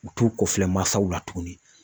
U t'u ko filɛ masaw la tuguni